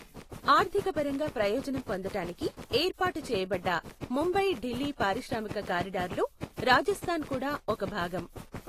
ఆర్ధికపరంగా ప్రయోజనం పొందటానికి ఏర్పాటు చేయబడ్డ ముంబై ఢిల్లీ పారిశ్రామిక కారిడార్లో రాజస్థాన్ కూడా ఒక భాగం.